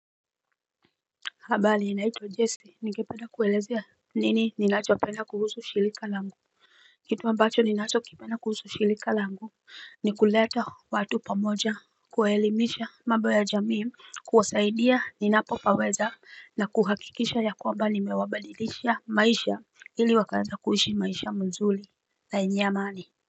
Habari ninaitwa jesse nikepeda kuelezea nini ninacho penda kuhusu shilika langu kitu ambacho ninachokipenda kuhusu shilika langu ni kuleta watu pamoja kuelimisha mabo ya jamii kuwasaidia ninapopaweza na kuhakikisha ya kwamba nimewabadilisha maisha ili wakanda kuishi maisha mzuli na yenye amani.